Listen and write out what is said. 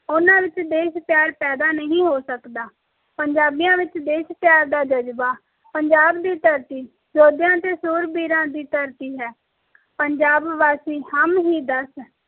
ਓਹਨਾ ਵਿਚ ਦੇਸ਼ ਪਿਆਰ ਐਡਾ ਨਹੀਂ ਹੋ ਸਕਦਾ ਪੰਜਾਬੀਆਂ ਵਿਚ ਦੇਸ਼ ਪਿਆਰ ਦਾ ਜਜ਼ਬਾ ਪੰਜਾਬ ਦੀ ਧਰਤੀ ਯੋਧਿਆਂ ਤੇ ਸ਼ੂਰਵੀਰਾ ਦੀ ਧਰਤੀ ਹੈ ਪੰਜਾਬਵਾਸੀ ਹਮ ਹੀ ਦਸ